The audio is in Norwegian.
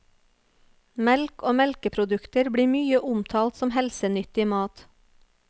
Melk og melkeprodukter blir mye omtalt som helsenyttig mat.